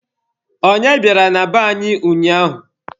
Onye bịara na be anyị ụnyaahụ?